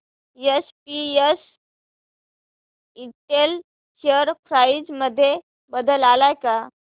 SPS Intel share price मध्ये बदल आलाय का